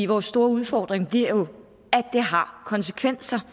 vores store udfordring bliver jo at det har konsekvenser